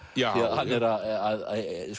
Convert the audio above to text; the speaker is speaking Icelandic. hann er að